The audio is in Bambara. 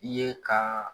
I ye ka